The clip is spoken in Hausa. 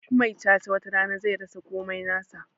Duk mai cha-cha watarana zai rasa komai nasa